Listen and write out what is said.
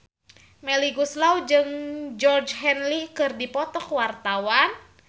Melly Goeslaw jeung Georgie Henley keur dipoto ku wartawan